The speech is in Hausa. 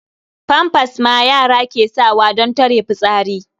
Famfas ma yara ke sawa don tare fitsari.